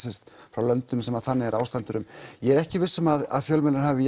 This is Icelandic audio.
frá löndum þar sem þannig er ástandið ég er ekki viss um að fjölmiðlar hafi